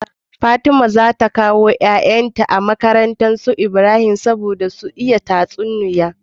Fatima zata kawo yayan ta makarantar su Ibrahim saboda sun iya bada tatsuniya